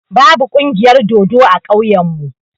Ba bu ƙungiyar dodo a ƙauyen mu.